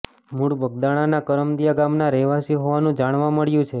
મૂળ બગદાણાના કરમદિયા ગામના રહેવાસી હોવાનું જાણવા મળ્યું છે